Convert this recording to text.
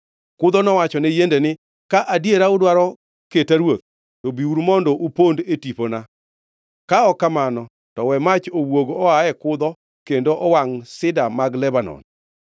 “Kudho nowachone yiende ni, ‘Ka adiera udwaro keta ruoth, to biuru kendo upond e tipona; ka ok kamano, to we mach owuog oa e kudho kendo owangʼ sida mag Lebanon!’